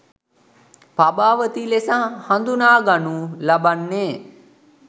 පබාවතී ලෙස හඳුනාගනු ලබන්නේ